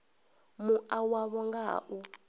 mua wavho nga ha u